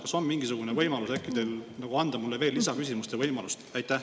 Kas teil on äkki mingisugune võimalus anda mulle lisaküsimuste esitamise õigus?